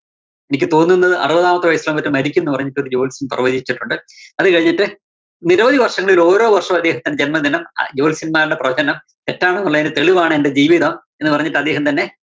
എനിക്ക് തോന്നുന്നത് അറുപതാമത്തെ വയസ്സിലോ മറ്റോ മരിക്കൂന്ന് പറഞ്ഞിട്ട് ഒരു ജോത്സ്യന്‍ പ്രവചിച്ചിട്ടുണ്ട്. അത് കഴിഞ്ഞിട്ട് നിരവധി വര്‍ഷങ്ങളില്‍ ഓരോ വര്‍ഷവും അദ്ദേഹത്തിന്റെ ജന്മദിനം ആ ജോത്സ്യന്മാരുടെ പ്രവചനം തെറ്റാണെന്നുള്ളതിന്റെ തെളിവാണ് എന്റെ ജീവിതം എന്നു പറഞ്ഞിട്ട് അദ്ദേഹം തന്നെ